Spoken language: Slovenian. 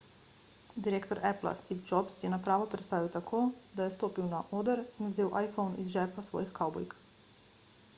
direktor appla steve jobs je napravo predstavil tako da je stopil na oder in vzel iphone iz žepa svojih kavbojk